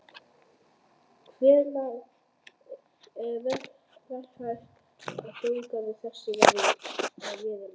Hvenær er raunhæft að þjóðgarður þessi verði að veruleika?